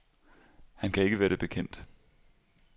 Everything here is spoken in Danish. Han kan ikke været det bekendt.